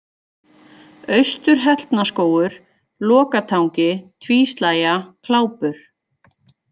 Austur-Hellnaskógur, Lokatangi, Tvíslægja, Klápur